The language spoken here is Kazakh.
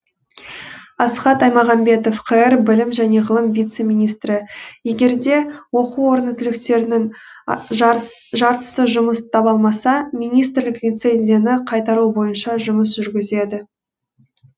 асхат аймағамбетов қр білім және ғылым вице минстрі егер де оқу орны түлектерінің жартысы жұмыс таба алмаса министрлік лицензияны қайтару бойынша жұмыс жүргізеді